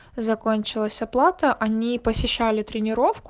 закончилась оплата они посещали тренеровку